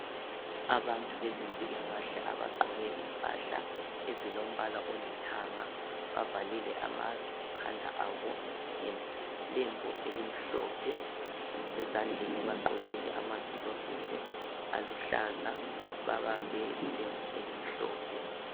Abantu bezempilakahle abagqoke izigqoko ezilombala olithanga bavalile ama khanda abo ngelembu elimhlophe. Ezandleni bagqokile ama gilovisi aluhlaza babambe ilembu ezimhlophe.